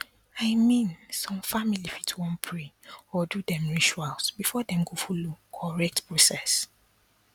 i mean some family fit wan pray or do dem rituals before dem go follow correct process